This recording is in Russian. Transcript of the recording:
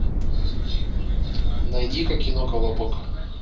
найди ка кино колобок